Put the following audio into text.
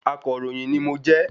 Akọ̀ròyìn ni mo jẹ́